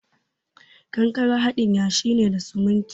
Kankare haɗin yashi ne da siminti.